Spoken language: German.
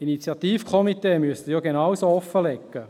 – Initiativkomitees müssten genauso offenlegen.